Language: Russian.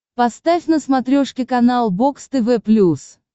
поставь на смотрешке канал бокс тв плюс